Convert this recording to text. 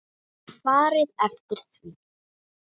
Og farið eftir því.